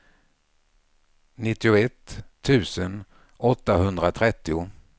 nittioett tusen åttahundratrettio